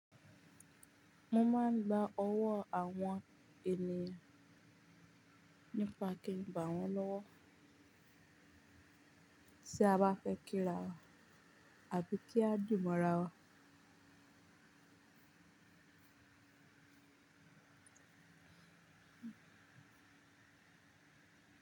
Mo máa ń gba owó àwọn ènìyàn nípa kí ń bà wọ́n lọ́wọ́ tí a bá fẹ́ kí ra wa àbí kí a dimọ̀ra wa.